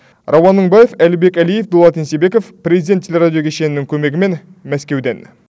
рауан мыңбаев әлібек әлиев дулат ентебеков президент телерадио кешенінің көмегімен мәскеуден